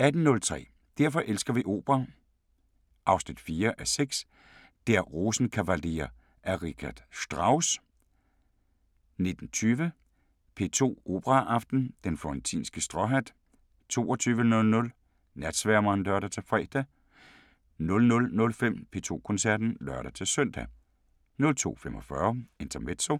18:03: Derfor elsker vi opera 4:6 – Der Rosenkavalier af Richard Strauss 19:20: P2 Operaaften: Den florentinske stråhat 22:00: Natsværmeren (lør-fre) 00:05: P2 Koncerten (lør-søn) 02:45: Intermezzo